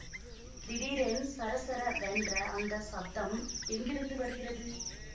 திடீரென் சரசரவென்ற அந்த சப்தம்எங்கிருந்து வருகிறது